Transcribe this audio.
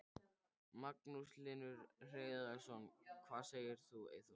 Magnús Hlynur Hreiðarsson: Hvað segir þú Eyþór?